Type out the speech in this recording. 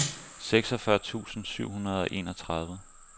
seksogfyrre tusind syv hundrede og enogtredive